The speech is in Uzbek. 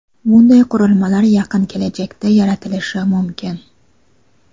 bunday qurilmalar yaqin kelajakda yaratilishi mumkin.